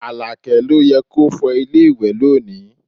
Alake ló yẹ kí o fọ ilé ìwẹ̀ lónìí